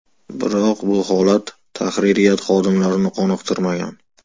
Biroq bu holat tahririyat xodimlarini qoniqtirmagan.